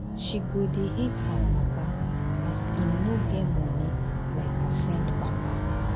she go dey hate her papa her papa as him no get moni like her friend papa.